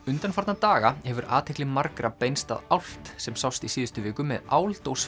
undanfarna daga hefur athygli margra beinst að álft sem sást í síðustu viku með